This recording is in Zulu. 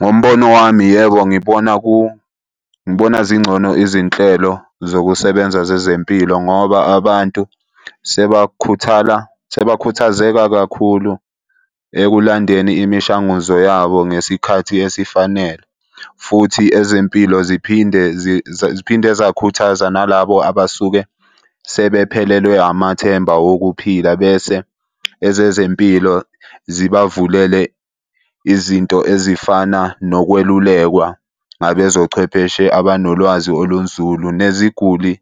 Ngombono wami yebo, ngibona , ngibona zingcono izinhlelo zokusebenza zezempilo ngoba abantu sebakhuthala sebakhuthazeka kakhulu ekulandeni imishanguzo yabo ngesikhathi esifanele, futhi ezempilo ziphinde . Ziphinde zakhuthaza nalabo abasuke sebephelelwe amathemba okuphila bese ezezempilo zibavulele izinto ezifana nokwelulekwa ngabezochwepheshe abanolwazi olunzulu neziguli